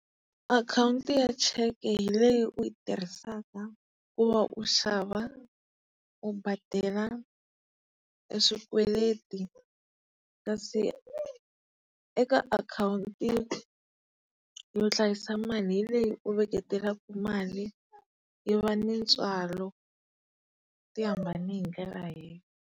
Akhawunti ya cheke hi leyi u yi tirhisaka ku va u xava, u badela e swikweleti kasi eka akhawunti yo hlayisa mali hi leyi u veketelaka mali yo va ni ntswalo. Ti hambane hi ndlela .